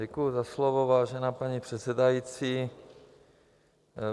Děkuji za slovo, vážená paní předsedající.